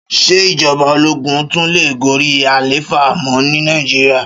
Ṣé ìjọba ológún tún lè gorí àlééfà mọ́ ní Nàìjíríà?